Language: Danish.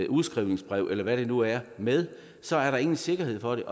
udskrivningsbrev eller hvad det nu er med så er der ingen sikkerhed for det